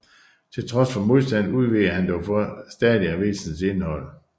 Til trods for modstanden udvidede han dog stadig avisens indhold